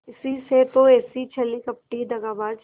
इसी से तो ऐसी छली कपटी दगाबाज